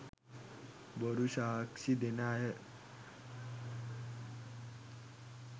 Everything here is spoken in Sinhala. බොරු සාක්‍ෂි දෙන අය,